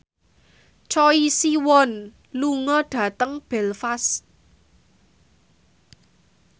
Choi Siwon lunga dhateng Belfast